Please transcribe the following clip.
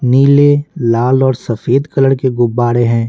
नीले लाल और सफेद कलर के गुब्बारे हैं।